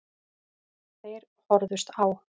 Þeir horfðust á.